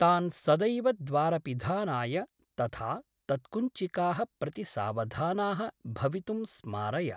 तान् सदैव द्वारपिधानाय तथा तत्कुञ्चिकाः प्रति सावधानाः भवितुं स्मारय।